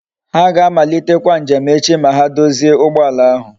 Ha ga amalitekwa njem echi ma ha dozie ugboala ahu